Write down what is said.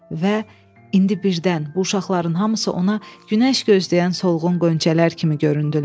Və indi birdən bu uşaqların hamısı ona günəş gözləyən solğun qonçələr kimi göründülər.